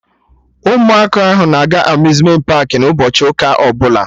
Ụmụaka ahụ na-aga Amuzmenti paakị n'ụbọchị ụka ọbụla